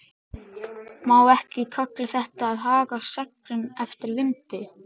Má ekki kalla þetta að haga seglum eftir vindi?